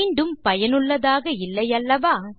மிகவும் பயனுள்ளதாக இல்லை அல்லவா